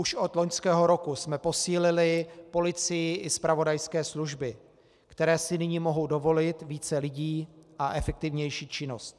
Už od loňského roku jsme posílili policii i zpravodajské služby, které si nyní mohou dovolit více lidí a efektivnější činnost.